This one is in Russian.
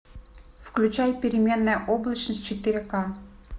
включай переменная облачность четыре ка